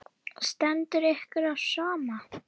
Stendur ykkur á sama?